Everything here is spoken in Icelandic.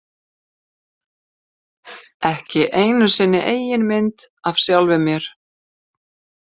Ekki einu sinni eigin mynd af sjálfum mér.